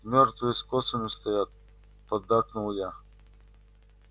мёртвые с косами стоят поддакнул я